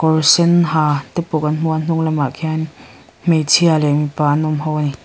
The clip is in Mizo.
kawr sen ha te pawh kan hmu a a hnunglamah khian hmeichhia leh mipa an awm ho ani.